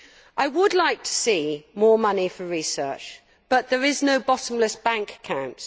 I would like to see more money for research but there is no bottomless bank account.